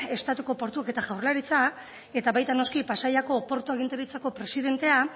estatuko portuak eta jaurlaritza eta baita noski pasaiako portu agintaritzako presidentea